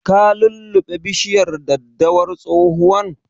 Ka lulluɓe bishiyar daddawar tsohuwan?